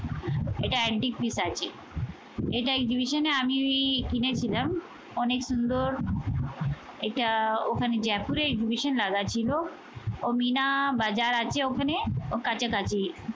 এটা antique piece আছে। এটা exhibition এ আমি কিনেছিলাম। অনেক সুন্দর এটা ওখানে জয়পুরে exhibition লাগা ছিল। ও মিনা বাজার আছে ওখানে ও কাছাকাছি।